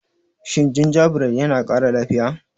Shin gingerbread yana kara lafiya?